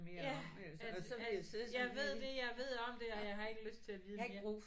Ja at at jeg ved det jeg ved om det og jeg har ikke lyst til at vide mere